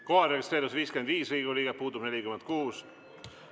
Kohalolijaks registreerus 55 Riigikogu liiget, puudub 46.